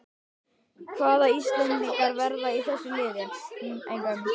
Hvaða íslendingar verða í þessu liði?